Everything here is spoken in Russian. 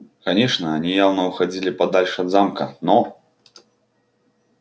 конечно они явно уходили подальше от замка но